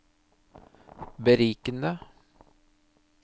berikende